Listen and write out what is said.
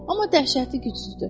Amma dəhşəti gücsüzdür.